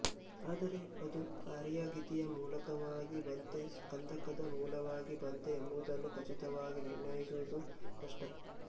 ಆದರೆ ಅದು ಆರ್ಯಾಗೀತಿಯ ಮೂಲಕವಾಗಿ ಬಂತೇ ಸ್ಕಂಧಕದ ಮೂಲವಾಗಿ ಬಂತೇ ಎಂಬುದನ್ನು ಖಚಿತವಾಗಿ ನಿರ್ಣಯಿಸುವುದು ಕಷ್ಟ